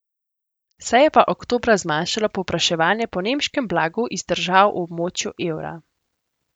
Se je pa oktobra zmanjšalo povpraševanje po nemškem blagu iz držav v območju evra.